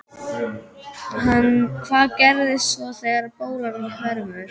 Hvað gerist svo þegar bólan hverfur?